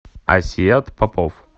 асият попов